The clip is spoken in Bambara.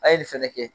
A ye nin fɛnɛ kɛ